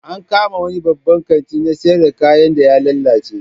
An kama wani babban kanti na siyar da kayan da ya lalace